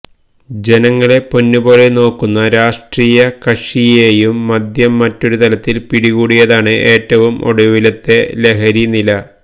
ജനങ്ങളെ പൊന്നുപോലെ നോക്കുന്ന രാഷ്ട്രീയകക്ഷിയെയും മദ്യം മറ്റൊരുതരത്തില് പിടികൂടിയതാണ് ഏറ്റവും ഒടുവിലത്തെ ലഹരിനില